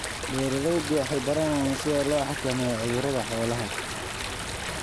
Beeraleydu waxay baranayaan sida loo xakameeyo cudurrada xoolaha.